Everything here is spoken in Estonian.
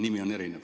Nimi on erinev.